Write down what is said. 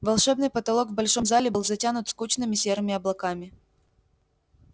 волшебный потолок в большом зале был затянут скучными серыми облаками